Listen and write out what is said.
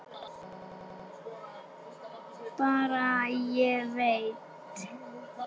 Bara: Ég veit.